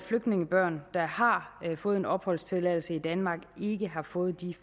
flygtningebørn der har fået opholdstilladelse i danmark ikke har fået de